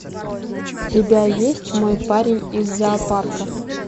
у тебя есть мой парень из зоопарка